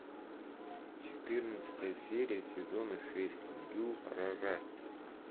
четырнадцатая серия сезона шесть дюрарара